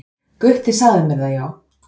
"""Gutti sagði mér það, já."""